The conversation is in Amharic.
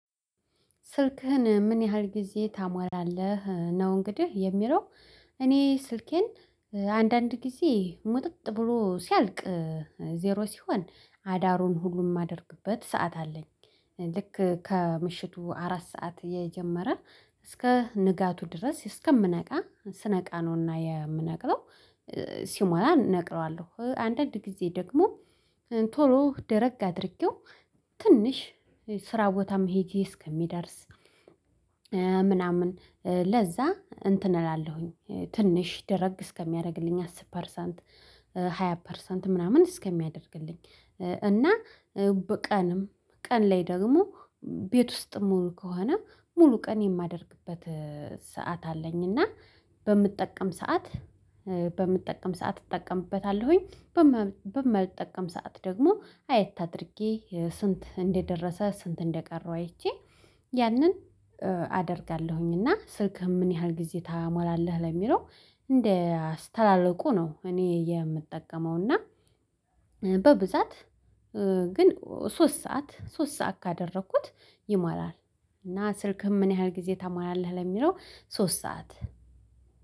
ስልክህን ምን ያህል ጊዜ ታሟላለህ ነው? እንግዲህ የሚለው እኔ ስልኬን ጊዜ ሙጥጥ ብሎ ሲያልቅ ዜሮ ሲሆን አዳሩን ሁሉም የማደርግበት ሰዓት አለኝ። ልክ ከምሽቱ አራት ሰዓት የጀመረ እስከ ንጋቱ ድረስ እስከምነቃ ስነቃ ነውና የምነቅለው። ሲሞላ እነቅለዋለሁ አንዳንድ ጊዜ ደግሞ ቶሎ ደረግ አድርጌው ትንሽ ስራ ቦታም ሄጄ እስከሚደርስ ምናምን ለዛ እንትን እላለሁኝ ትንሽ ደረግ እስከሚያደርግልኝ አስር ፐርሰንት ሃያ ፐርሰንት ምናምን እስከሚያደርግልኝ። እና በቀንም ቀን ላይ ደግሞ ቤት ውስጥ ሙሉ ከሆነ ሙሉ ቀን የማደርግበት ሰዓት አለኝ። እና በምጠቀም ሰዓት በምትጠቀም ሰዓት እጠቀምበታለሁኝ በማልጠቀምበት ሰዓት ደግሞ አይት አድርጌ ስንት እንደደረሰ ስንት እንደቀረው አይቼ ያንን አደርጋለሁኝ። እና ስልክህ ምን ያህል ጊዜ ታሞላለህ ለሚለው? እንደ አስተላልቁ ነው እኔ የምጠቀመው እና በብዛት ግን ሶስት ሰዓት ሶስት ሰዓት ካደረኩት ይሞላል። እና ስልክህን ምን ያህል ጊዜ ተማላለህ ለሚለው ሶስት ሰዓት?